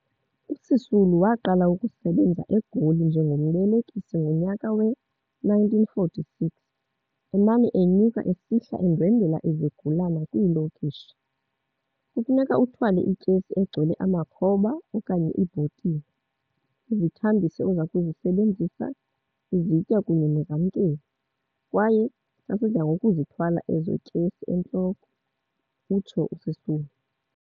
USisulu waqala ukusebenza eGoli njengombelekisi ngonyaka we-1946, emane enyuka esihla endwendwela izigulana kwiilokishi. Kufuneka uthwale ityesi egcwele amakhoba okanye iibhotile, izithambisi ozakuzisebenzisa, izitya kunye nezamkeli, kwaye sasidla ngokuzithwala ezo tyesi entloko," utsho uSisulu.